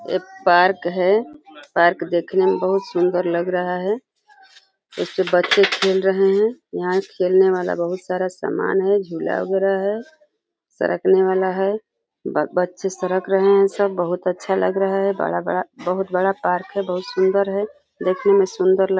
ए park है। Park देखने में बहुत सुंदर लग रहा है। इसपे बच्चे खेल रहे हैं यहाँ खेलने वाला बहुत सारा सामान है। झुला वगैरह है। सरकने वाला है बच्चे सरक रहे हैं। सब बहुत अच्छा लग रहा है। बड़ा-बड़ा बहुत बड़ा पार्क है बहुत सुंदर है देखने में सुंदर ल --